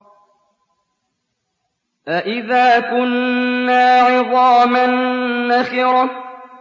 أَإِذَا كُنَّا عِظَامًا نَّخِرَةً